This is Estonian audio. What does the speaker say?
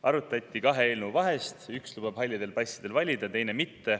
Arutati kahe eelnõu vahet: üks lubab halli passiga valida, teine mitte.